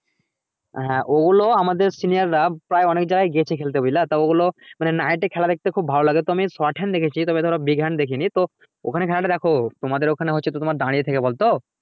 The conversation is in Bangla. হ্যা ঐগুলো আমাদের senior রা প্রায় অনেক জায়গায় গেছে খেলতে বুঝলা তো ওগুলো মানে night এ খেলা দেখতে খুব ভালো লাগে তো আমি short hand দেখছি তবে ধরো big hand দেখিনি ওখানে খেলা টা দ্যাখো তোমাদের ওখানে হচ্ছে তো তোমাদের দাঁড়িয়ে থেকে বল তো